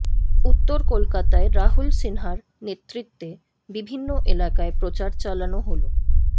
উত্তর কলকাতায় রাহুল সিনহার নেতৃত্বে বিভিন্ন এলাকায় প্রচার চালানো হল